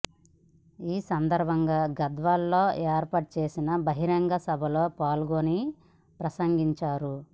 ఈ సందర్భం గా గద్వాలలో ఏర్పాటు చేసిన బహిరంగ సభలో పాల్గొని ప్రసంగించారు